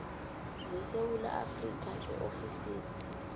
zesewula afrika eofisini